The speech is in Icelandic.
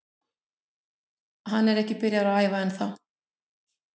Hann er ekki byrjaður að æfa ennþá.